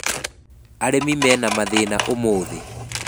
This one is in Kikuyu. Arĩmi mena mathĩna ũmũthĩ.